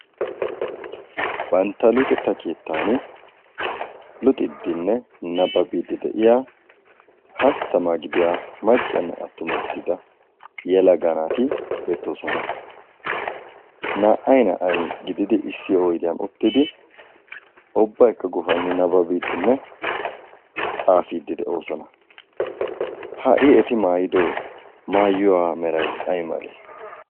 bantta luuxxetta keettan luuxidinne nabbabiidi de'iyaa hasttaammaa gidiyaa maccanne attumma gidida yelaga naati beettoosona. naa"ay naa"ay gididi issi oydiyaan uuttidi ubbaykka guuffani nabbabidiinne xaafiidi de'oosona. ha'i eti maayido mayuwaa meeray ay malee?